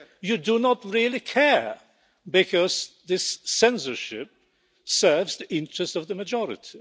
it. You do not really care because this censorship serves the interest of the majority.